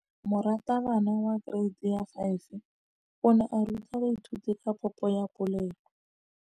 Moratabana wa kereiti ya 5 o ne a ruta baithuti ka popô ya polelô.